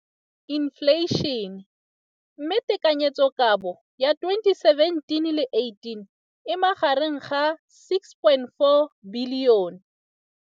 Infleišene, mme tekanyetsokabo ya 2017, 18, e magareng ga R6.4 bilione.